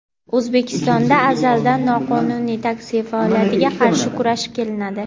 O‘zbekistonda azaldan noqonuniy taksi faoliyatiga qarshi kurashib kelinadi.